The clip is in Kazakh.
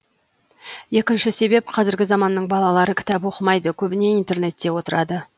екінші себеп қазіргі заманның балалары кітап оқымайды көбіне интернетте отырады